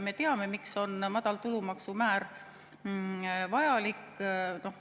Me teame, miks on madal tulumaksumäär vajalik.